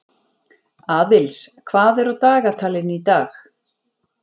Aðils, hvað er á dagatalinu í dag?